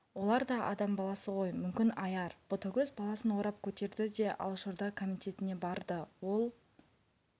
олар да адам баласы ғой мүмкін аяр ботагөз баласын орап көтерді де алашорда комитетіне барды ол